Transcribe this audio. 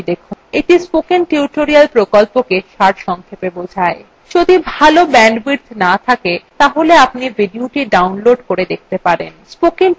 এটি spoken tutorial প্রকল্পটি সারসংক্ষেপে বোঝায় যদি ভাল bandwidth না থাকে তাহলে আপনি ভিডিওthe download করে দেখতে পারেন